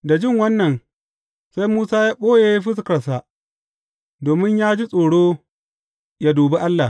Da jin wannan, sai Musa ya ɓoye fuskarsa, domin ya ji tsoro yă dubi Allah.